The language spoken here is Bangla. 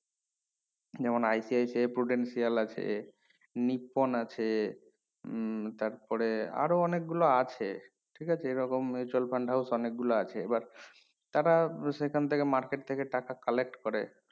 যেমন ICICI এ prudential আছে নিপন আছে উম তারপরে আরো অনেক গুলো আছে ঠিক আছে এই রকম mutual fund অনেক গুলো আছে এবার তারা সেখান থেকে market থেকে টাকা collect করে